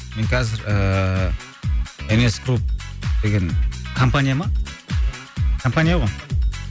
мен қазір ыыы нс групп деген компания ма компания ғой